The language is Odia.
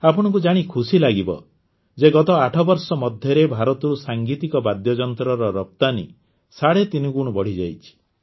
ଆପଣଙ୍କୁ ଜାଣି ଖୁସି ଲାଗିବ ଯେ ଗତ ୮ ବର୍ଷ ମଧ୍ୟରେ ଭାରତରୁ ସାଂଗୀତିକ ବାଦ୍ୟଯନ୍ତ୍ରର ରପ୍ତାନି ସାଢ଼େ ତିନି ଗୁଣ ବଢ଼ିଯାଇଛି